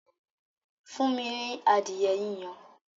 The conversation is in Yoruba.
Fún mi ní adìẹ yíyan!